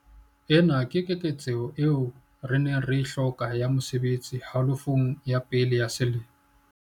Ena ke keketseho eo re neng re e hloka ya mesebetsi halofong ya pele ya selemo sena.